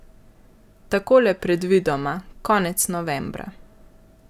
Takole predvidoma, konec novembra.